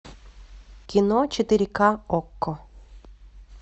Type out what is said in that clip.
кино четыре ка окко